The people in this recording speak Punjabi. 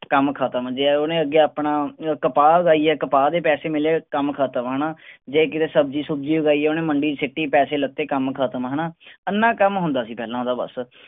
ਕੰਮ ਖਤਮ ਜੇ ਓਹਨੇ ਅੱਗੇ ਆਪਣਾ ਕਪਾਹ ਉਗਾਈ ਆ ਕਪਾਹ ਦੇ ਪੈਸੇ ਮਿਲੇ ਕੰਮ ਖਤਮ ਹੈਨਾ ਜੇ ਕਿਸੇ ਸਬਜ਼ੀ ਸੁਬਜੀ ਉਗਾਈ ਆ ਓਹਨੇ ਮੰਡੀ ਚ ਸਿਟੀ ਪੈਸੇ ਲਿੱਤੇ ਕੰਮ ਖਤਮ ਹੈਨਾ ਏਨਾ ਕੰਮ ਹੁੰਦਾ ਸੀ ਪਹਿਲਾਂ ਓਹਦਾ ਬਸ